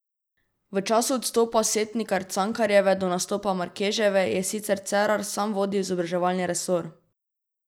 V času od odstopa Setnikar Cankarjeve do nastopa Markeževe je sicer Cerar sam vodil izobraževalni resor.